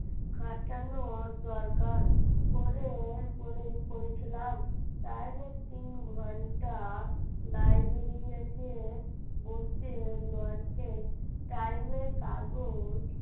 ঘাটানো দরকার পড়ে পড়েছিলাম তাহলে তিন ঘন্টা library তে বসে Time এর কাগজ,